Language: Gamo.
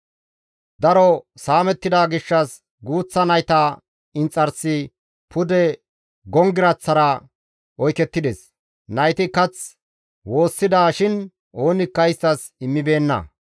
Daro saamettida gishshas guuththa nayta inxarsi pude gonggiraththara oykettides; nayti kath woossida shin oonikka isttas immibeenna.